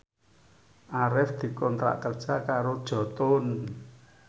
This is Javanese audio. Arif dikontrak kerja karo Jotun